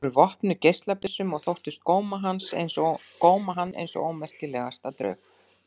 Þau voru vopnuð geislabyssum og þóttust góma hann eins og ómerkilegasta draug.